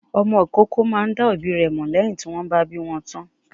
Ọmọ ìkókó máa ń dá òbí rẹ̀ mọ̀ lẹ́yìn tí wọ́n bá bí wọn tán.